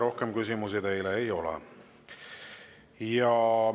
Rohkem küsimusi teile ei ole.